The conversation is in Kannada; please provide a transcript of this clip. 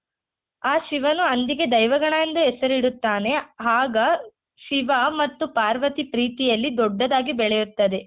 ಆ ಶಿವನು ಹಂದಿಗೆ ದೈವಗಣ ಎಂದು ಹೆಸರಿಡುತ್ತಾನೆ ಆಗ ಶಿವ ಮತ್ತು ಪಾರ್ವತಿ ಪ್ರೀತಿಯಲ್ಲಿ ದೊಡ್ಡದಾಗಿ ಬೆಳೆಯುತ್ತದೆ.